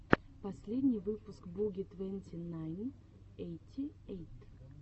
последний выпуск буги твенти найн эйти эйт